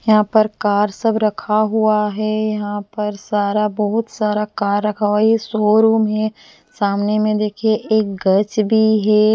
यहां पर कार सब रखा हुआ है यहां पर सारा बहुत सारा कार रखा हुआ ये शोरूम है सामने में देखिए एक गज भी--